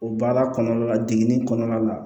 O baara kɔnɔna la degeli kɔnɔna la